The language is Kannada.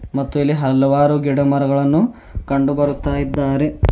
ಮತ್ತು ಇಲ್ಲಿ ಹಲವಾರು ಗಿಡಮರಗಳನ್ನು ಕಂಡು ಬರ್ತಾ ಇದ್ದಾರೆ.